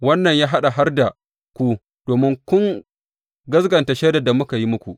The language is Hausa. Wannan ya haɗa har da ku, domin kun gaskata shaidar da muka yi muku.